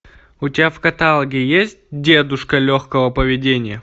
у тебя в каталоге есть дедушка легкого поведения